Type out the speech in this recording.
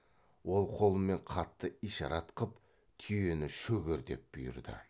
ол қолымен қатты ишарат қып түйені шөгер деп бұйырды